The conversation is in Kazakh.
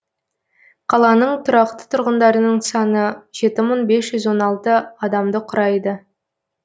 қаланың тұрақты тұрғындарының саны жеті мың бес жүз он алты адамды құрайды